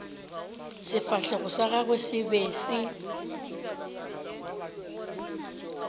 sefahlego sa gagwe se be